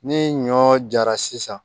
Ni ɲɔ jara sisan